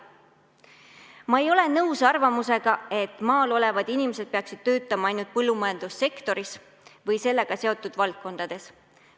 Ma ei ole nõus arvamusega, et maal elavad inimesed peaksid töötama ainult põllumajandussektoris või sellega seotud valdkondades.